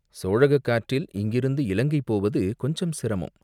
சோழகக் காற்றில் இங்கிருந்து இலங்கை போவது கொஞ்சம் சிரமம்.